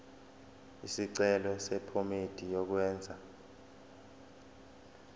isicelo sephomedi yokwenze